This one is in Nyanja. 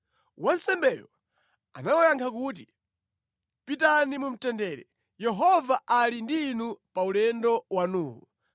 Wansembeyo anawayankha kuti, “Pitani mu mtendere, Yehova ali ndi inu pa ulendo wanuwu.”